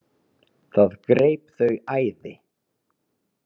Það greip þau æði.